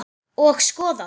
Og skoðað.